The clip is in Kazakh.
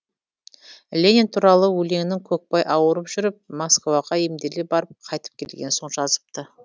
ленин туралы өлеңін көкпай ауырып жүріп москваға емделе барып қайтып келген соң жазыпты